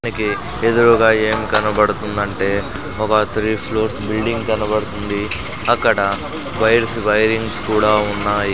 మనకి ఎదురూగా ఏం కనబడుతుందంటే ఒక త్రీ ఫ్లోర్స్ బిల్డింగ్ కనబడుతుంది అక్కడ వైర్స్ వైరింగ్స్ కూడా ఉన్నాయి.